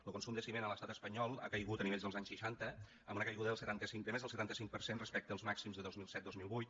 lo consum de ciment a l’estat espanyol ha caigut a nivells dels anys seixanta amb una caiguda de més del setanta cinc per cent respecte als màxims de dos mil set dos mil vuit